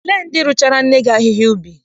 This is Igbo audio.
Olee ndị rụchaara nne gị ahịhịa n'ubi?